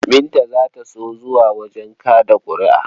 Binta za ta so zuwa wajen kaɗa ƙuri'a.